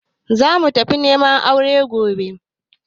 Za mu tafi neman aure gobe